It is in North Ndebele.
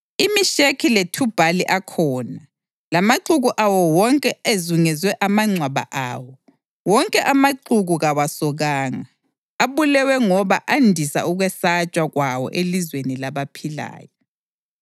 IMesheki leThubhali akhona, lamaxuku awo wonke ezungeze amangcwaba awo. Wonke amaxuku kawasokanga, abulewe ngoba andisa ukwesatshwa kwawo elizweni labaphilayo.